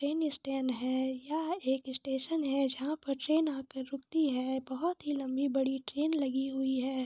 Train stand है यहाँ एक स्टेशन है जहा पर ट्रेन आकर रूकती है बहुत ही लम्बी बड़ी ट्रेन लगी हुई हैं।